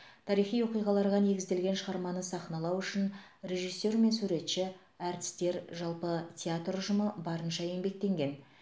тарихи оқиғаларға негізделген шығарманы сахналау үшін режиссер мен суретші әртістер жалпы театр ұжымы барынша еңбектенген